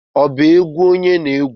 ọba egwu onye na-egwu?